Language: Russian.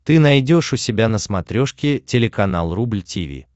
ты найдешь у себя на смотрешке телеканал рубль ти ви